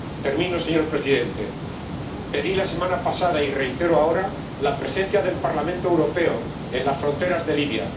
Termino, señor Presidente. Pedí la semana pasada ―y reitero ahora mi petición― la presencia del Parlamento Europeo en las fronteras de Libia.